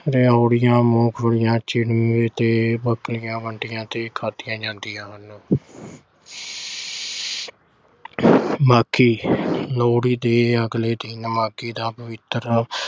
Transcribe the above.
ਰਿਓੜੀਆਂ, ਮੂੰਗਫਲੀਆਂ, ਤੇ ਬੱਕਲੀਆਂ ਵੰਡੀਆਂ ਤੇ ਖਾਧੀਆਂ ਜਾਂਦੀਆਂ ਹਨ। ਬਾਕੀ ਲੋਹੜੀ ਦੇ ਅਗਲੇ ਦਿਨ ਮਾਘੀ ਦਾ ਪਵਿੱਤਰ